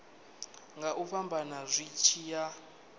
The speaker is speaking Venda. nga fhambana zwi tshi ya